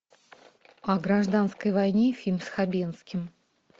о гражданской войне фильм с хабенским